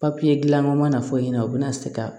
Papiye dilanna u mana fɔ i ɲɛna u bɛna se ka